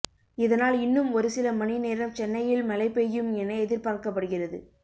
இதனால் இன்னும் ஒருசில மணி நேரம் சென்னையில் மழை பெய்யும் என எதிர்பார்க்கப்படுகிறது